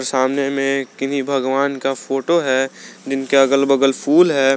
सामने में किन्ही भगवान का फोटो है जिनका अगल बगल फूल है।